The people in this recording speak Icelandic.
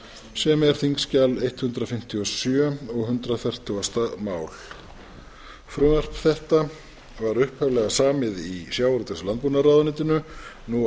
sem er þingskjal hundrað fimmtíu og sjö og hundrað og fertugasta mál frumvarp þetta var upphaflega samið í sjávarútvegs og landbúnaðarráðuneytinu nú